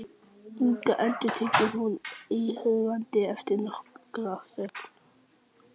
Inga, endurtekur hún íhugandi eftir nokkra þögn.